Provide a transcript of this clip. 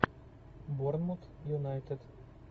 борнмут юнайтед